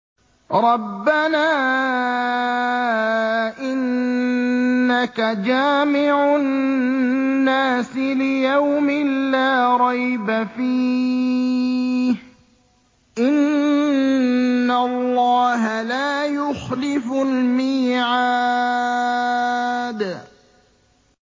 رَبَّنَا إِنَّكَ جَامِعُ النَّاسِ لِيَوْمٍ لَّا رَيْبَ فِيهِ ۚ إِنَّ اللَّهَ لَا يُخْلِفُ الْمِيعَادَ